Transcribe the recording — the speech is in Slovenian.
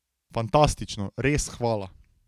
Fantastično, res hvala.